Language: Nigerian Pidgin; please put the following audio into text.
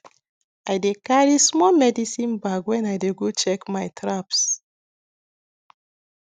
i dey carry small medicine bag when i dey go check my traps